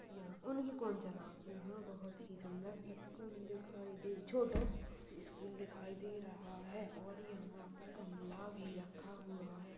यहाँ उनकी कोन चला। यहाँ बहोत ही सुंदर स्कूल दिखाई दे। छोटो स्कूल दिखाई दे रहा है और यहाँ पर गमला भी रखा हुआ है।